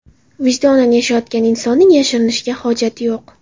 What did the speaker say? Vijdonan yashayotgan insonning yashirinishga hojati yo‘q.